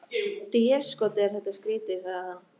Déskoti er þetta skrýtið, sagði hann.